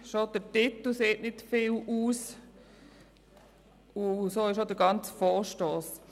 […]»– schon der Titel sagt nicht viel aus, und das gilt auch für den ganzen Vorstoss.